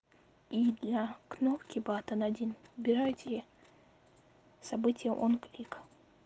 и для кнопки батон один выбирайте событие онклик